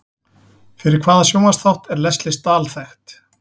Fyrir hvaða sjónvarpsþátt er Lesley Stahl þekkt?